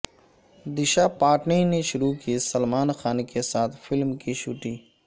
دشا پاٹنی نےشروع کی سلمان خان کے ساتھ فلم کی شوٹنگ